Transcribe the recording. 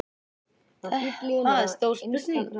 Það er stór spurning